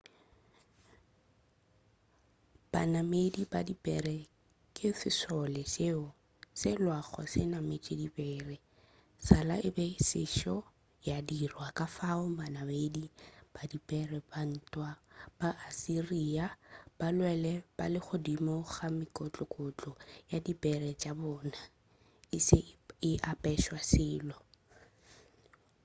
banamedi ba dipere ke sešole seo se lwago se nametše dipere sala e be e sešo ya dirwa kafao banamedi ba dipere ba ntwa ba assyria ba lwele ba le godimo ga mekokotlo ya dipere tša bona e se a apešwa selo